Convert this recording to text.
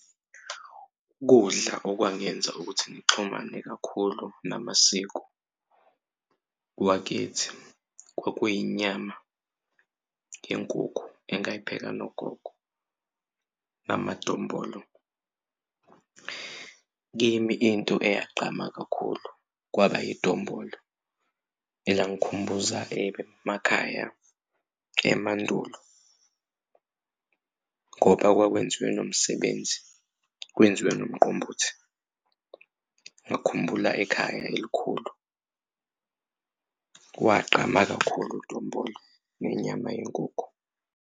Ukudla okwangenza ukuthi ngixhumane kakhulu namasiko wakithi kwakuyinyama yenkukhu engayipheka nogogo namadombolo. Kimi into eyagqama kakhulu kwaba idombolo elangikhumbuza emakhaya emandulo ngoba kwakwenziwe nomsebenzi, kwenziwe nomqombothi. Ngakhumbula ekhaya elikhulu kwagqama kakhulu idombolo nenyama yenkukhu.